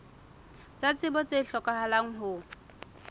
tsa tsebo tse hlokahalang ho